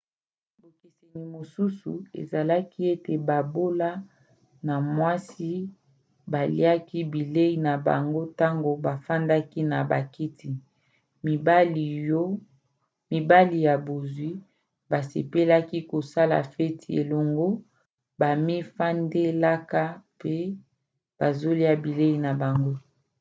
bokeseni mosusu ezalaki ete babola na mwasi baliaki bilei na bango ntango bafandaki na bakiti mibali ya bozwi basepelaka kosala feti elongo bamifandelaka mpe bazolia bilei na bango